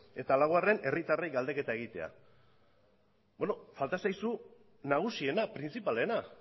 eta laugarren herritarrei galdeketa egitea falta zaizu nagusiena printzipalena